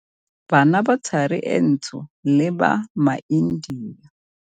Bana ba Thari e Ntsho le ba maIndia.